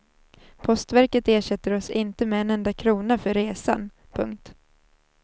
Postverket ersätter oss inte med en enda krona för resan. punkt